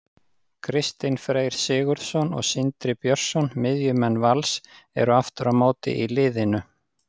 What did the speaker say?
Kristinn Freyr Sigurðsson og Sindri Björnsson, miðjumenn Vals, eru aftur á móti í liðinu.